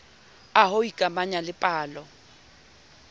a ho ikamanya le pallo